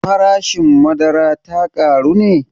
Farashin madara ta ƙaru ne?